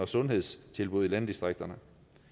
sundhedstilbud i landdistrikterne